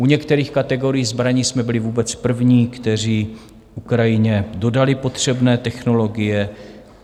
U některých kategorií zbraní jsme byli vůbec první, kteří Ukrajině dodali potřebné technologie.